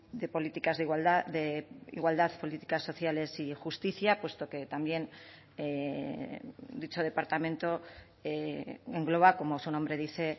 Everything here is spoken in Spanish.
de políticas de igualdad de igualdad políticas sociales y justicia puesto que también dicho departamento engloba como su nombre dice